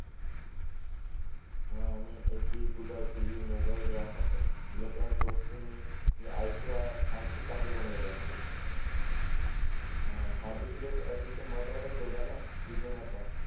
हा नि ac cooler tv या सारख्या इलेकट्रोनिक वस्तू नि आयेशा आणखी चांगली बनवली ये हा देखी अत्यन्त महत्वा चा शोध आहे ना विज्ञाचा